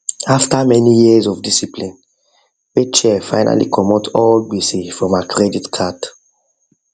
after many years of discipline rachel finally comot all gbese form her credit card